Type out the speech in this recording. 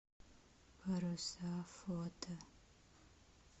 паруса фото